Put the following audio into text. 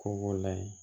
Ko b'o la ye